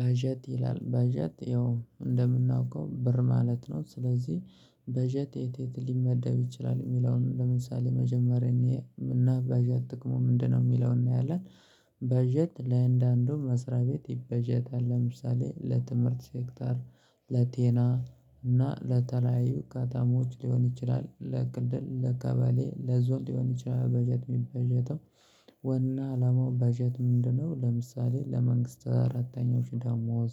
በጀት ይላል በጀት ያው እንደምናውቀው ብር ማለት ነው ስለዚህ በጀት የት የት ሊመደብ ይችላል ሚለውን ለምሳሌ መጀመሪያ እኔ እና በጀት ጥቅሙ ምንድነው የሚለውን እናያለን? በጀት ለአንዳንዱ መስሪያ ቤት ይበጀታል ለምሳሌ ለትምህርት ሴክተር ለቴና እና ለተለያዩ እቃ ከተሞች ሊሆን ይችላል ለክልል ለከበሌ ለዞን ሊሆን ይችላል። በጀት ሚበጀተው ዋና አላማው በጀት ምንድነው ለምሳሌ ለመንግስት ሰራተኞች ዳማወዝ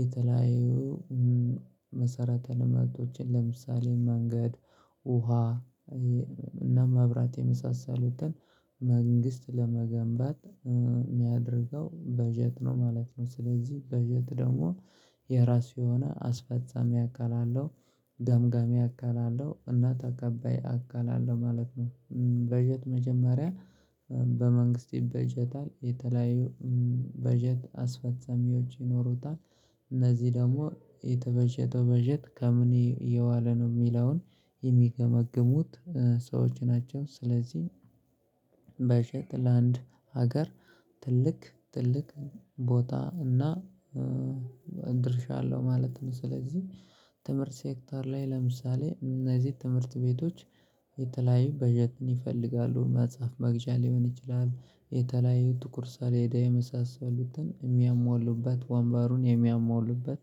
የተለያዩ መሰረተ ልማቶችን ለምሳሌ መንገድ ውሃ እና መብራት የመሳሰሉትን መንግስት ለመገንባት ሚያደርገው በጀት ነው ማለት ነው። ስለዚህ በጀት ደግሞ የራሱ የሆነ አስፈጻሚ አካል አለሁ ገምጋሚ አካል አለሁ እና ተቀባይ አካል አለሁ ማለት ነው። በጀት መጀመሪያ በመንግስት ይበጀታል የተለያዩ በጀት አስፈጻሚዎች ይኖሩታል እነዚህ ደግሞ የተበጀተው በጀት ከምን የዋለ ነው ሚለውን የሚገመግሙት ሰዎች ናቸው። ስለዚህ በጀት ለአንድ ሀገር ትልቅ ትልቅ ቦታ እና ድርሻ አለሁ ማለት ነው። ስለዚህ ትምህርት ሴክተር ላይ ለምሳሌ እነዚህ ትምህርት ቤቶች የተለያዩ በጀትን ይፈልጋሉ መጽሐፍ መግዣ ሊሆን ይችላል የተለያዩ ጥቁር ሠሌዳ የመሳሰሉትን ሚያሟሉበት ወንበሩን የሚያሟሉበት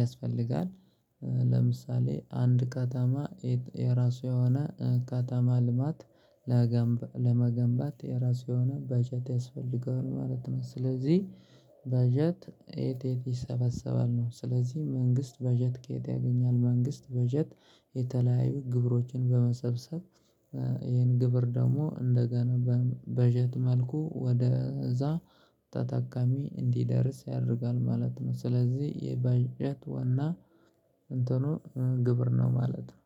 ያስፈልጋል። ለምሳሌ አንድ ከተማ የራሱ የሆነ ከተማ ልማት ለመገንባት የራሱ የሆነ በጀት ያስፈልገዋል ማለት ነው። ስለዚህ በጀት የት የት ይሰበሰባል ነው ስለዚህ መንግስት በጀት ከየት ያገኛል? መንግስት በጀት የተለያዩ ግብሮችን በመሰብሰብ ይህን ግብር ደግሞ እንደገና በጀት መልኩ ወደ እዛ ተጠቃሚ እንዲደርስ ያደርጋል ማለት ነው። ስለዚህ የበጀት ዋና እንትኑ ግብር ነው ማለት ነው